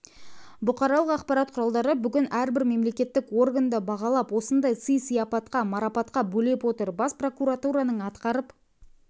бұқаралық ақпарат құралдары бүгін әрбір мемлекеттік органды бағалап осындай сый-сыяпатқа марапатқа бөлеп отыр бас прокуратураның атқарып